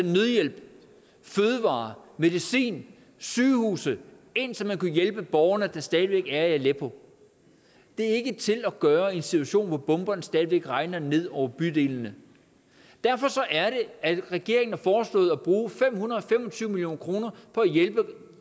nødhjælp fødevarer medicin sygehuse ind så man kunne hjælpe de borgere der stadig væk er i aleppo det er ikke til at gøre i en situation hvor bomberne stadig væk regner ned over bydelene derfor er det at regeringen har foreslået at bruge fem hundrede og fem og tyve million kroner på at hjælpe